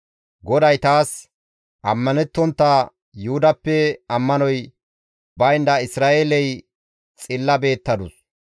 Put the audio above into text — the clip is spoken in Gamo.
GODAY taas, «Ammanettontta Yuhudappe ammanoy baynda Isra7eeley xilla beettadus.